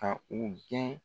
Ka u gɛn